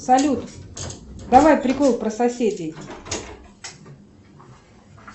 салют давай прикол про соседей